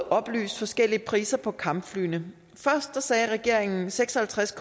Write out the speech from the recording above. oplyst forskellige priser på kampflyene først sagde regeringen seks og halvtreds